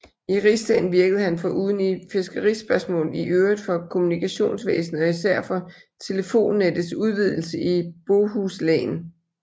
I riksdagen virkede han foruden i fiskerispørgsmål i øvrigt for kommunikationsvæsenet og især for telefonnettets udvidelse i Bohuslän